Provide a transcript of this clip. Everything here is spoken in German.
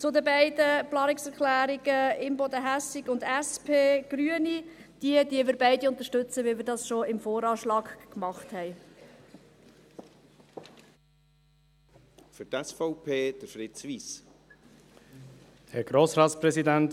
Zu den beiden Planungserklärungen Imboden und Hässig, Grüne und SP: Wir unterstützen beide, so wie wir das schon beim VA getan haben.